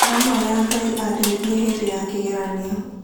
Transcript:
Ndĩrahoya Ngai andeithie hĩndĩ ya kĩgeranio..